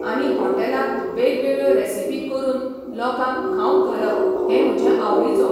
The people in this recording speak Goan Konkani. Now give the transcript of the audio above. आनी हॉटेलांत वेगवेगळ्यो रेसिपी करून लोकांक खावंक घालप हें म्हजें आवडीचो.